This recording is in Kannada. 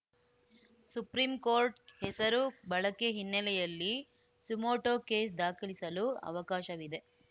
ಸುಪ್ರಿಂ ಕೋರ್ಟ್‌ ಹೆಸರು ಬಳಕೆ ಹಿನ್ನೆಲೆಯಲ್ಲಿ ಸುಮೋಟೋ ಕೇಸ್‌ ದಾಖಲಿಸಲು ಅವಕಾಶವಿದೆ